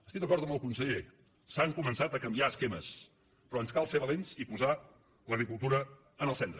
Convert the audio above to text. estic d’acord amb el conseller s’han començat a canviar esquemes però ens cal ser valents i posar l’agricultura en el centre